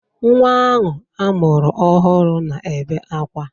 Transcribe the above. Nwa ahụ a mụrụ ọhụrụ na-ebe akwa.